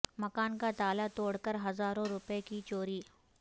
مکان کا تالا توڑ کر ہزاروں روپئے کی چوری